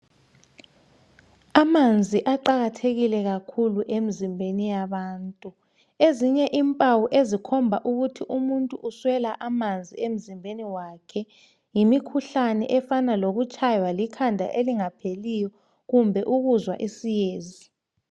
amanzi aqakathekile kakhulu emzimbeni yabantu ezinye impawu ezikhomba ukuthi umuntu uswela amanzi emzimbeni wakhe yimikhuhlane efana lokutshaywa likhanda elingapheliyo kumbe ukuzwa isiyezi